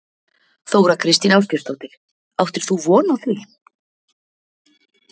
Þóra Kristín Ásgeirsdóttir: Áttir þú von á því?